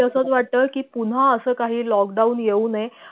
तेच मलाही तसंच वाटत कि पुन्हा अस काही lockdown येऊ नये